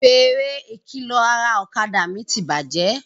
Fèrè ìkìlọ̀ ara ọ̀kadà mi ti bàjẹ́